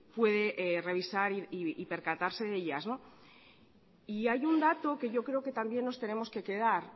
puede revisar y percatarse de ellas hay un dato que yo creo que también nos tenemos que quedar